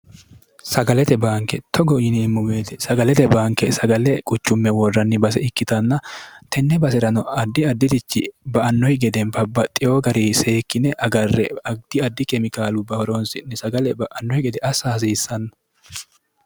sagalete baanke togo yiniimmu meeti sagalete banke sagale quchumme woorranni base ikkitanna tenne base'rano addi addirichi ba annohi gede bbaxiyoo gari seekkine agarre agdi addi kemikaalu bahoroonsi'ni sagale ba'annohi gede assa hasiissanno